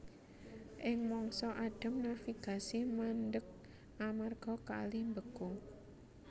Ing mangsa adhem navigasi mandheg amarga kali mbeku